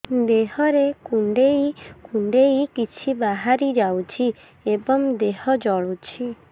ଦେହରେ କୁଣ୍ଡେଇ କୁଣ୍ଡେଇ କିଛି ବାହାରି ଯାଉଛି ଏବଂ ଦେହ ଜଳୁଛି